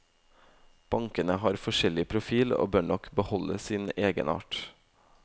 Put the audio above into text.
Bankene har forskjellig profil og bør nok beholde sin egenart.